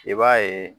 I b'a ye